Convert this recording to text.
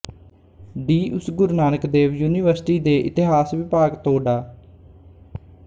D ਉਸ Guru Nanak Dev university ਦੇ ਇਤਿਹਾਸ ਵਿਭਾਗ ਤੋਂ ਡਾ